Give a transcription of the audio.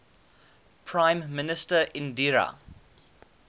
prime minister indira